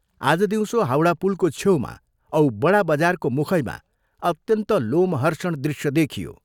आज दिउँसो हाउडा पुलको छेउमा औ बडा बजारको मुखैमा अत्यन्त लोमहर्षण दृश्य देखियो।